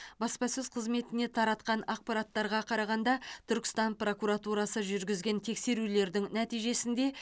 баспасөз қызметіне таратқан ақпараттарға қарағанда түркістан прокуратурасы жүргізген тексерулердің нәтижесінде